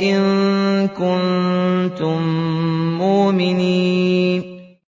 إِن كُنتُم مُّؤْمِنِينَ